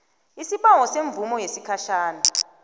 isibawo semvumo yesikhatjhana